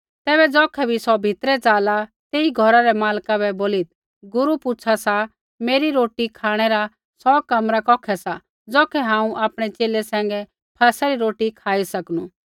तैबै ज़ौखै बी सौ भितरै ज़ाला तेई घौरा रै मालका बै बोलीत् गुरू पुछ़ू सा मेरी रोटी खाँणै रा सौ कमरा कौखै सा ज़ौखै हांऊँ आपणै च़ेले सैंघै फसह री रोटी खाई सकनू